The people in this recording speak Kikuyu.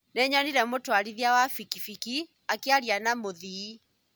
Nĩnyonire mũtwarithia wa bikibiki akĩaria na mũthii